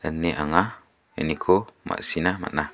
ine anga ianiko ma·sina man·a.